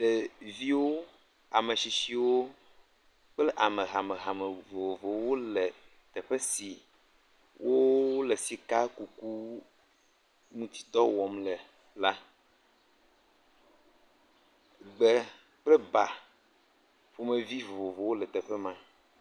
Ɖeviwo, ametsitsiwo kple ame hamehame vovovowo le teƒe si wole sikakuku ŋuti dɔ wɔm le la be kple ba ƒomevi vovovowo le teƒe ma.